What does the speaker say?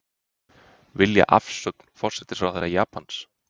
Vilja afsögn forsætisráðherra Japans